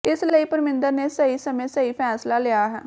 ਇਸ ਲਈ ਪਰਮਿੰਦਰ ਨੇ ਸਹੀ ਸਮੇਂ ਸਹੀ ਫੈਸਲਾ ਲਿਆ ਹੈ